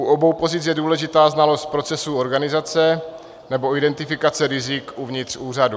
U obou pozic je důležitá znalost procesu organizace nebo identifikace rizik uvnitř úřadů.